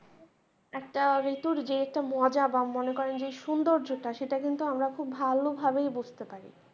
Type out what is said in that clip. একটা ঋতুর যে একটা মজা বা মনে করেন যে সুন্দর্যটা সেটা কিন্তু আমার খুব ভালো ভাবেই বুঝতে পারি ।